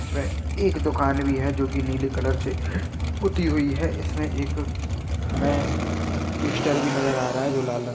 इसमें एक दुकान भी है जो नीले कलर से पुती हुई है इसमें एक हमें ट्विस्टर भी नज़र आ रहा है जो लाल रंग में--